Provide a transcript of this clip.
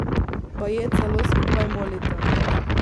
Baje celo skupaj molita.